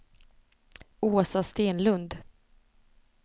Åsa Stenlund